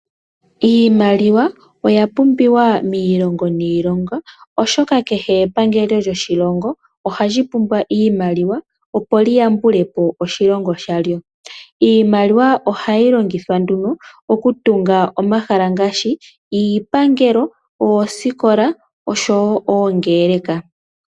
Iimaliwa oya pumbiwa miilongo niilongo, oshoka kehe epangelo lyoshilongo ohali pumbwa iimaliwa opo lyi yambulepo oshilongo shalyo. Iimaliwa ohayi longithwa nduno okutunga omahala ngaashi, iipangelo, oosikola noshowo oongeleka.